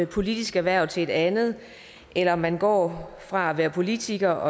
politisk hverv til et andet eller om man går fra at være politiker